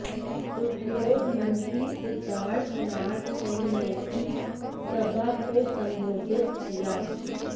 उद्योग मंत्री सिद्धार्थनाथ सिंह ने भी सभा को संबोधित किया